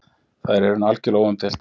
Það er í raun algjörlega óumdeilt